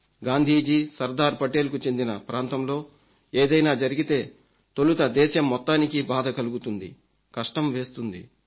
గాంధీజీ సర్దార్పటేల్కు చెందిన ప్రాంతంలో ఏదైనా జరిగితే తొలుత దేశం మొత్తానికి బాధ కలుగుతుంది కష్టం వేస్తుంది